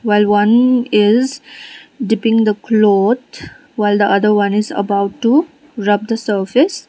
while one is dipping the cloth while the other is about to rub the surface.